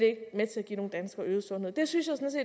ikke med til at give nogen danskere øget sundhed det synes